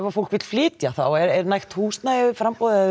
fólk vill flytja þá er nægt húsnæðisframboð eða